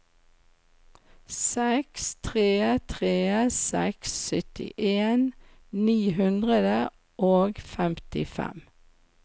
seks tre tre seks syttien ni hundre og femtifem